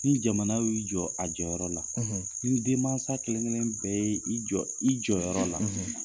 Ni jamana y'i jɔ a jɔyɔrɔyɔrɔ la , ni denman kelenkelen bɛɛ i jɔ i jɔyɔrɔ la